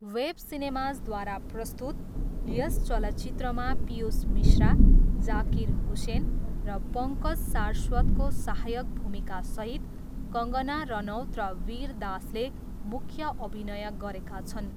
Wave सिनेमाजद्वारा प्रस्तुत, यस चलचित्रमा पियूष मिश्रा, जाकिर हुसेन र पङ्कज सारस्वतको सहायक भूमिकासहित कङ्गना रनौत र वीर दासले मुख्य अभिनय गरेका छन्।